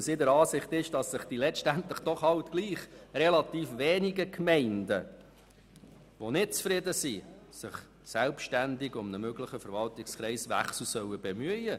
Sie ist der Ansicht, dass die schlussendlich doch wenigen Gemeinden, die nicht zufrieden sind, sich selbstständig um einen möglichen Verwaltungskreiswechsel bemühen sollen.